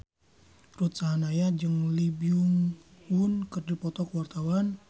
Ruth Sahanaya jeung Lee Byung Hun keur dipoto ku wartawan